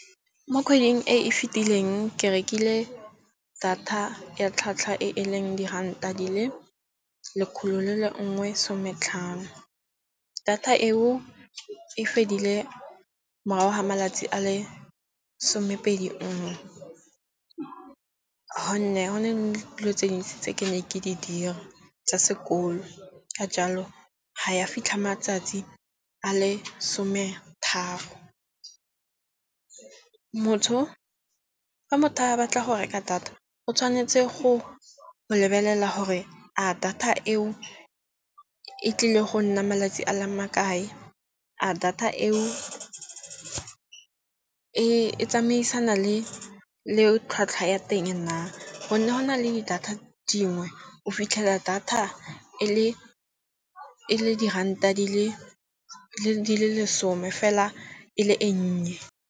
Mo kgweding e e fitileng ke rekile data ya tlhwatlhwa e e leng diranta di le lekgolo le le nngwe sometlhano. Data eo e fedile morago ga malatsi a le somepedi nngwe. Go ne go na le dilo tse dintsi tse ke ne ke di dira tsa sekolo. Ka jalo ha ya fitlha matsatsi a le some tharo. Motho fa motho a batla go reka data o tshwanetse go lebelela gore a data eo e tlile go nna malatsi a le makae. A data eo e tsamaisana le tlhwatlhwa ya teng na. Gonne go na le data dingwe o fitlhela data e le diranta di le lesome fela e le e nnye.